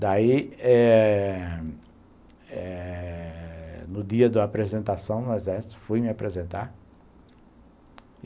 Daí, eh... eh... No dia da apresentação no Exército, fui me apresentar.